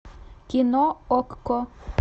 кино окко